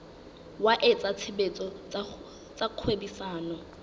wa etsa tshebetso tsa kgwebisano